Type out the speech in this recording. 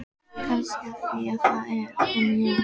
Kannski af því að það eru að koma jól.